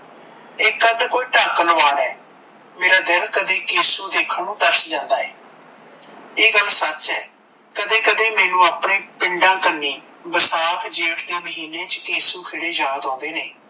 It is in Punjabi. ਇੱਕ ਅੱਧ ਕੋਈ ਟੱਕ ਲਗਵਾ ਲੈ ਮੇਰਾ ਦਿਲ ਕਦੀ ਕੀਸੂ ਦੇਖਣ ਨੂੰ ਤਰਸ ਜਾਂਦਾ ਏ ਇਹ ਗੱਲ ਸੱਚ ਏ ਕਦੇ ਕਦੇ ਮੈਂਨੂੰ ਆਪਣੇ ਪਿੰਡਾਂ ਕਨੀ ਬਰਸਾਤ ਜੇਠ ਦੇ ਮਹੀਨੇ ਚ ਕੇਸੂ ਖੇਡੇ ਯਾਦ ਆਉਂਦੇ ਨੇ